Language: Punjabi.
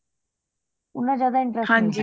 ਉਹਨਾਂ ਜ਼ਿਆਦਾ interest